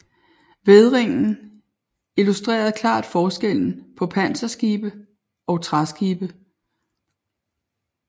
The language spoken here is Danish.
Vædringen illustrerede klart forskellen på panserskibe og træskibe